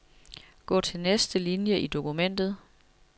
Gå til næste linie i dokumentet.